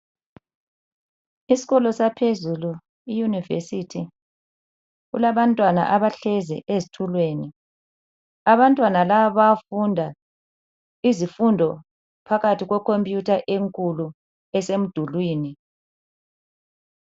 Isikolo saphezulu iyunivesithi kulabantwana abahlezi ezitulweni. Abantwana laba bayafunda izifundo phakathi kwekhompiyutha enkulu esemdulwini.